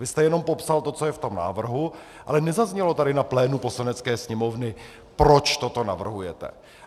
Vy jste jenom popsal to, co je v tom návrhu, ale nezaznělo tady na plénu Poslanecké sněmovny, proč toto navrhujete.